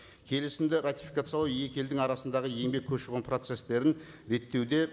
келісімді ратификациялау екі елдің арасындағы еңбек көші қон процесстерін реттеуде